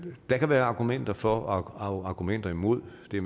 der kan være argumenter for og argumenter imod det er